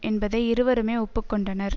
என்பதை இருவருமே ஒப்பு கொண்டனர்